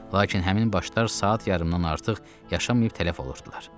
Lakin həmin başlar saat yarımdan artıq yaşamayıb tələf olurdular.